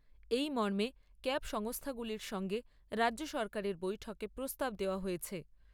এই মর্মে ক্যাব সংস্থাগুলির সঙ্গে রাজ্য সরকারের বৈঠকে প্রস্তাব দেওয়া হয়েছে।